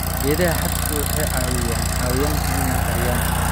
Geedaha hadhku waxay caawiyaan xayawaanka inay qariyaan.